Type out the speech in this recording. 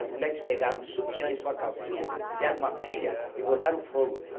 As mulheres pegaram o sutiã e sua calcinha, fizeram uma pilha e botaram fogo.